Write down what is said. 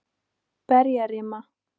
Berjarima